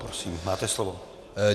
Prosím, máte slovo.